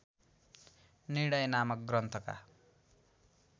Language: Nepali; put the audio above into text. निर्णय नामक ग्रन्थका